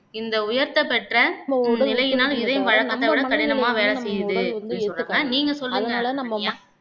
இந்த உயர்த்தப் பெற்ற நிலையினால் இதயம் வழக்கத்தை விட கடினமா வேலை செய்யுது அப்பிடின்னு சொல்ராங்க நீங்க சொல்லுங்க சரண்யா